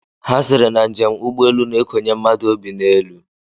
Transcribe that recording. Ha sịrị na njem ụgbọelu na-ekonye mmadụ obi n'elu